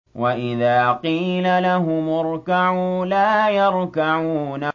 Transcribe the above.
وَإِذَا قِيلَ لَهُمُ ارْكَعُوا لَا يَرْكَعُونَ